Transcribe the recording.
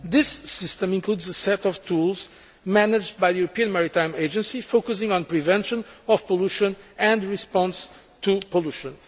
This system includes a set of tools managed by the European Maritime Agency, focusing on prevention of pollution and response to pollution.